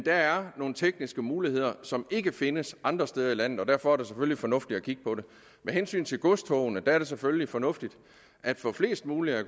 er nogle tekniske muligheder som ikke findes andre steder i landet og derfor er det selvfølgelig fornuftigt at kigge på det med hensyn til godstogene er det selvfølgelig fornuftigt at få flest muligt af